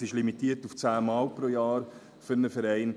Es ist limitiert auf zehnmal pro Jahr für einen Verein.